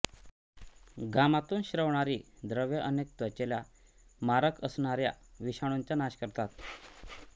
घामातून स्रवणारी द्रव्ये अनेक त्वचेला मारक असणाऱ्या विषाणूंचा नाश करतात